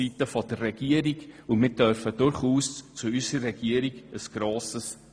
Wir dürfen durchaus grosses Vertrauen in unsere Regierung setzen.